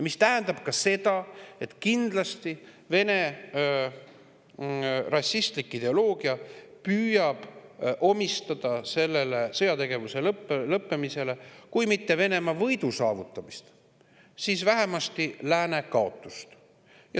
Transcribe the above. See tähendab ka seda, et kindlasti püüab Vene rašistlik ideoloogia omistada sellele sõjategevuse lõppemisele kui mitte Venemaa võidu, siis vähemasti lääne kaotuse.